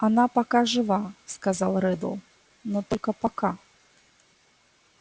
она пока жива сказал реддл но только пока